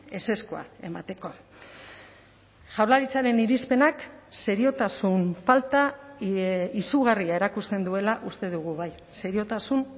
ezezkoa emateko jaurlaritzaren irizpenak seriotasun falta izugarria erakusten duela uste dugu bai seriotasun